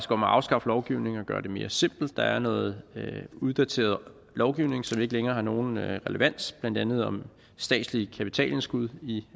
om at afskaffe lovgivning og gøre det mere simpelt der er noget uddateret lovgivning som ikke længere har nogen relevans blandt andet om statslige kapitalindskud i